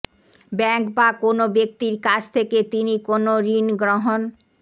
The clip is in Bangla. ব্যাংক বা কোনো ব্যক্তির কাছ থেকে তিনি কোনো ঋণ গ্রহণ